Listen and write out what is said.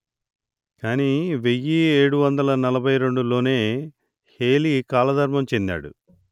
కానీ వెయ్యి ఏడు వందలు నలభై రెండు లోనే హేలీ కాలధర్మం చెందాడు